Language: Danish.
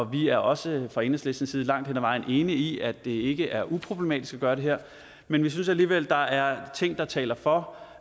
vi er også fra enhedslistens side langt hen ad vejen enige i at det ikke er uproblematisk at gøre det her men vi synes alligevel at der er ting der taler for